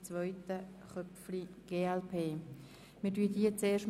Wir stellen zunächst diese beiden